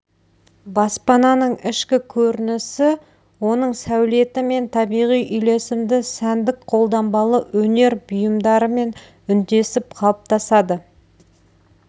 баспананың ішкі көрінісі оның сәулетімен табиғи үйлесімді сәндік-қолданбалы өнер бұйымдарымен үндесіп қалыптасады